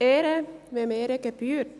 Ehre, wem Ehre gebührt.